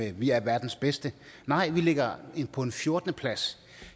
at vi er verdens bedste nej vi ligger på en fjortende plads